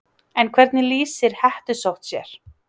En hvernig lýsir hettusótt sér?